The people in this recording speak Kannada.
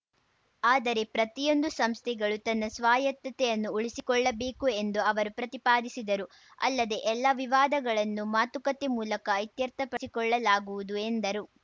ಆದರೆ ಪ್ರತಿಯೊಂದು ಸಂಸ್ಥೆಗಳು ತನ್ನ ಸ್ವಾಯತ್ತತೆಯನ್ನು ಉಳಿಸಿಕೊಳ್ಳಬೇಕು ಎಂದು ಅವರು ಪ್ರತಿಪಾದಿಸಿದರು ಅಲ್ಲದೆ ಎಲ್ಲ ವಿವಾದಗಳನ್ನು ಮಾತುಕತೆ ಮೂಲಕ ಇತ್ಯರ್ಥಪಡಿಕೊಳ್ಳಲಾಗುವುದು ಎಂದರು